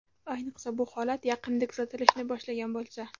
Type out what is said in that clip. Ayniqsa, bu holat yaqinda kuzatilishni boshlagan bo‘lsa.